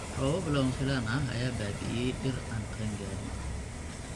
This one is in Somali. Roobab lama filaan ah ayaa baabi'iyay dhir aan qaangaarin.